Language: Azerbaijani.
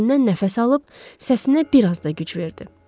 Dərindən nəfəs alıb səsinə bir az da güc verdi.